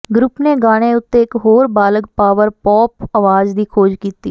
group ਨੇ ਗਾਣੇ ਉੱਤੇ ਇੱਕ ਹੋਰ ਬਾਲਗ ਪਾਵਰ ਪੌਪ ਆਵਾਜ਼ ਦੀ ਖੋਜ ਕੀਤੀ